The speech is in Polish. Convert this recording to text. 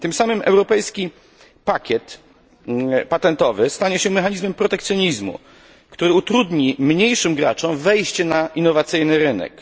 Tym samym europejski pakiet patentowy stanie się mechanizmem protekcjonizmu, który utrudni mniejszym graczom wejście na innowacyjny rynek.